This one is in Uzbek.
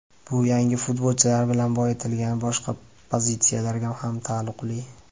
Bu yangi futbolchilar bilan boyitilgan boshqa pozitsiyalarga ham taalluqli.